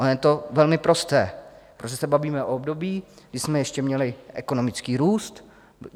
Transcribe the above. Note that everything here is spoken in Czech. Ono je to velmi prosté, protože se bavíme o období, kdy jsme ještě měli ekonomický růst.